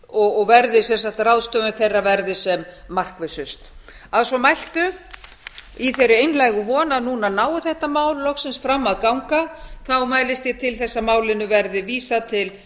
og ráðstöfun þeirra verði sem markvissust að svo mæltu í þeirri einlægu von að núna nái þetta mál loksins fram að ganga mælist ég til þess að málinu verði vísað til